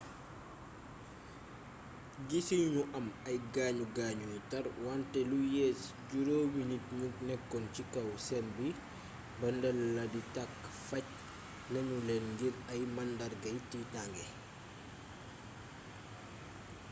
guisuñu ñu am ay gaañu gaañu yu tarr wante lu yées juróomi nit ñu nekkoon ci kaw sen bi ba ndel la di tàkk faj nanu leen ngir ay màndargayi tiitange